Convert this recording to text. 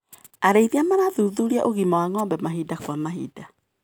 Arĩithiaa marathuthuria ũgima wa ngombe mahinda kwa mahinda.